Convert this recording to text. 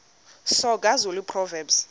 soga zulu proverbs